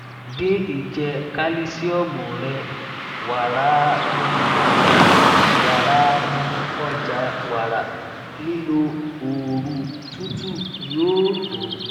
din ijẹ kalisiomu rẹ [waraawọn ọja [waraawọn ọja wara] lilo ooru tutu yoo to